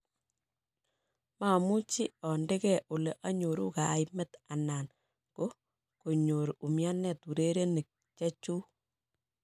Mamuche ande geh ole anyoru kaimet anan goh konyor umianet urerenik chechuk